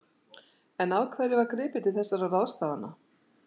En af hverju var gripið til þessara ráðstafana?